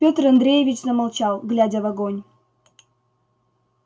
петр андреевич замолчал глядя в огонь